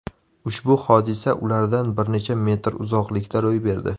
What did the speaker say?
Ushbu hodisa ulardan bir necha metr uzoqlikda ro‘y berdi.